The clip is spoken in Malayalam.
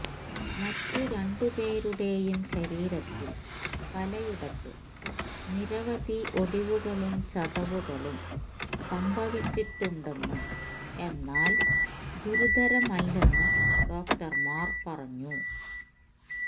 മറ്റ് രണ്ടുപേരുടെയും ശരീരത്തിൽ പലയിടത്തും നിരവധി ഒടിവുകളും ചതവുകളും സംഭവിച്ചിട്ടുണ്ടെന്നും എന്നാൽ ഗുരുതരമല്ലെന്നും ഡോക്ടർമാർ പറഞ്ഞു